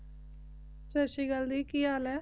ਸਾਸਰੀਕਾਲ ਜੀ ਕੀ ਹਾਲ ਆਯ